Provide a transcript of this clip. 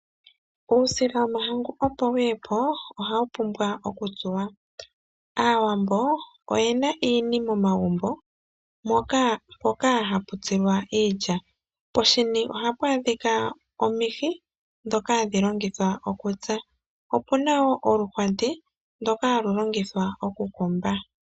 Uusila womahangu opo wu ye po ohawu pumbwa okutsuwa. Aawambo oye na iini momagumbo mpoka hapu tsilwa iilya. Poshini ohapu adhika omihi ndhoka hadhi longithwa okutsa, opu na wo oluhwati ndoka halu longithwa okukomba.